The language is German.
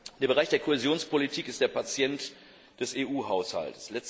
Der Bereich der Kohäsionspolitik ist der Patient des EU Haushalts.